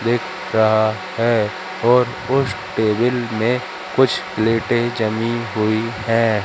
दिख रहा है और उस टेबल में कुछ लेटे जली हुई हैं।